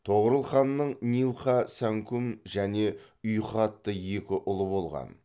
тоғорыл ханның нилқа сәңкүм және ұйқы атты екі ұлы болған